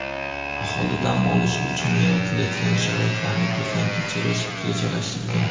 aholi dam olishi uchun yaratilayotgan sharoitlarni ko‘zdan kechirish rejalashtirilgan.